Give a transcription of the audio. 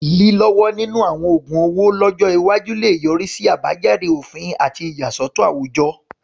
Lílọ́wọ́ nínú àwọn oògun owó lọ́jọ́ iwájú lè yọrí sí àbájáde òfin àti ìyàsọ́tọ̀ àwùjọ.